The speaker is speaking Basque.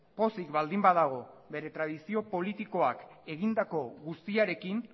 pozik baldin badago bere tradizio politikoak egindako guztiarekin